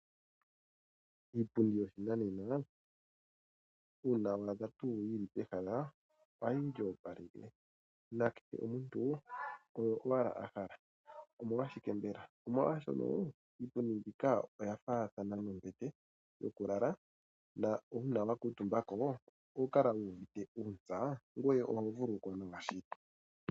Iipundi yoshinanena uuna wa dha tuu yi li pehala ohayi li opaleke nakehe omuntu oyo owala a hala. Omolwashike mbela? Omolwashoka iipundi mbika oya faathana nombete yokulala na uuna wa kuutumba ko oho kala wu uvite uuntsa ngoye oho vululukwa nawa shili.